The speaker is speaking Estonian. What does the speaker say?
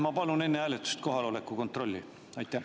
Ma palun enne hääletust kohaloleku kontrolli.